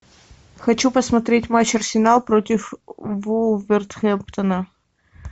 хочу посмотреть матч арсенал против вулверхэмптона